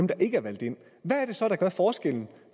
der ikke er valgt ind hvad er det så der gør forskellen